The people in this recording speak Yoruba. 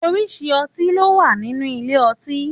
Òrisirisí õtí lò wá nínú ìlé õtí